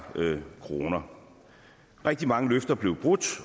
kroner rigtig mange løfter blev brudt